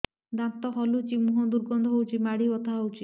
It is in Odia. ଦାନ୍ତ ହଲୁଛି ମୁହଁ ଦୁର୍ଗନ୍ଧ ହଉଚି ମାଢି ବଥା ହଉଚି